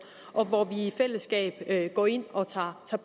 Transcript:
og hvor vi i fællesskab går ind og tager